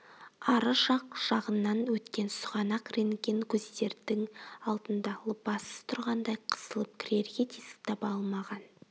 ары жақ жағыңнан өткен сұғанақ рентген көздердің алдында лыпасыз тұрғандай қысылып кірерге тесік таба алмаған